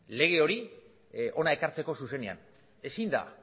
lege hori hona ekartzeko zuzenean ezin da